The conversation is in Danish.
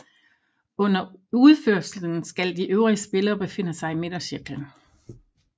Under udførelsen skal de øvrige spillere befinde sig i midtercirklen